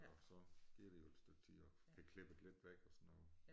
Og så gik der jo et stykke tid og fik klippet lidt væk og sådan noget